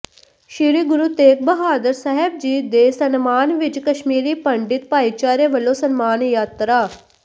ਸ੍ਰੀ ਗੁਰੂ ਤੇਗ ਬਹਾਦਰ ਸਾਹਿਬ ਜੀ ਦੇ ਸਨਮਾਨ ਵਿਚ ਕਸ਼ਮੀਰੀ ਪੰਡਿਤ ਭਾਈਚਾਰੇ ਵੱਲੋਂ ਸਨਮਾਨ ਯਾਤਰਾ